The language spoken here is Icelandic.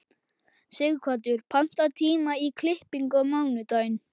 Sighvatur, pantaðu tíma í klippingu á mánudaginn.